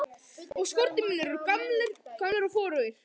Og skórnir mínir gamlir og forugir.